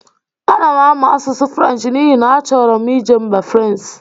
A na-amụ asụsụ Frenchị n'ihi na a chọrọ m ije mba Fransị.